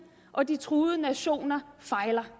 og de truede nationer fejler